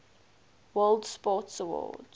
world sports awards